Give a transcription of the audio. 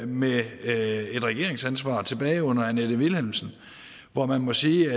med et et regeringsansvar tilbage under annette vilhelmsen hvor man må sige